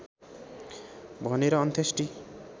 भनेर अन्त्येष्टि